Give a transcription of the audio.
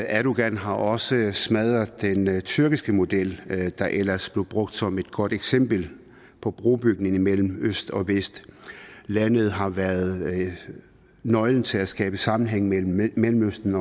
erdogan har også smadret den tyrkiske model der ellers blev brugt som et godt eksempel på brobygning imellem øst og vest landet har været nøglen til at skabe sammenhæng mellem mellemøsten